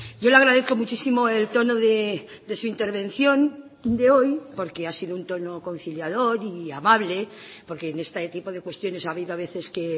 yo le agradezco muchísimo el tono de su intervención de hoy porque ha sido un tono conciliador y amable porque en este tipo de cuestiones ha habido a veces que